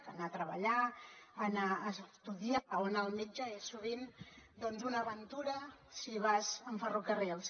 anar a treballar anar a estudiar o anar al metge és sovint una aventura si vas amb ferrocarrils